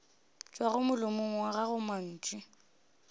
tšwago molomong wa gago mantšu